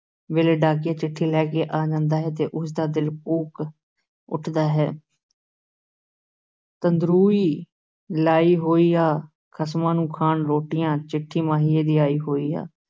ਵੇਲੇ ਡਾਕੀਆ ਚਿੱਠੀ ਲੈ ਕੇ ਆ ਜਾਂਦਾ ਹੈ ਤੇ ਉਸ ਦਾ ਦਿਲ ਕੂਕ ਉੱਠਦਾ ਹੈ ਤੰਦਰੂਈ ਲਾਈ ਹੋਈ ਆ, ਖ਼ਸਮਾਂ ਨੂੰ ਖਾਣ ਰੋਟੀਆਂ, ਚਿੱਠੀ ਮਾਹੀਏ ਦੀ ਆਈ ਹੋਈ ਆ।